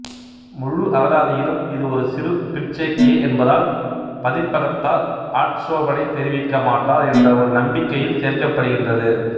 முழு அகராதியிலும் இது ஒரு சிறு பிற்சேர்க்கையே என்பதால் பதிப்பகத்தார் ஆட்சோபனை தெரிவிக்கமாட்டார் என்ற ஒரு நம்பிக்கையில் சேர்க்கப்படுகின்றது